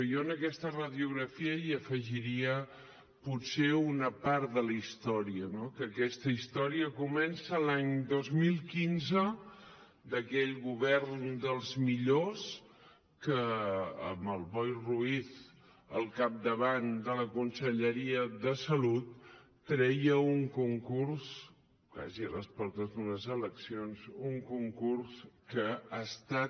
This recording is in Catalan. jo en aquesta radiografia hi afegiria potser una part de la història no que aquesta història comença l’any dos mil quinze amb aquell govern dels millors que amb el boi ruiz al capdavant de la conselleria de salut treia un concurs quasi a les portes d’unes eleccions que ha estat